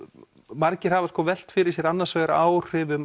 margir velt fyrir sér áhrifum